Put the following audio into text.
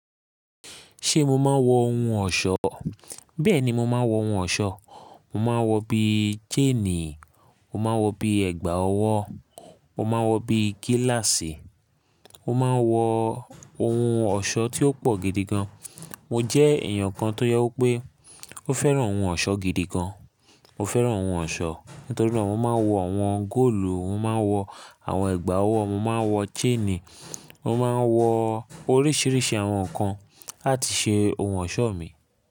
Ṣé mo máa ń wọ ohun ọ̀ṣọ́? Bẹ́ẹ̀ni, mo máa ń wọ ohun ọ̀ṣọ́. Mo máa ń wọ bí i chain, mo máa ń wọ bí i ẹ̀gbà ọwọ́, mo máa ń wọ bí i gíláàsì, mo máa ń wọ ohun ọ̀ṣọ́ tí ó pọ̀ gidi gan. Mo jẹ́ èèyàn kan tó jẹ́ wí pé ó fẹ́ran ohun ọ̀ṣọ́ gidi gan. Mo fẹ́ràn oun ọ̀ṣọ́, nítorí mo man wọ àwọn góòlù, mo man wọ àwọn chain, mo man wọ oríṣiríṣi àwọn ǹkan láti ṣe ọ̀ṣọ́ mi.